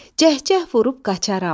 Cəhcəh vurub qaçarəm.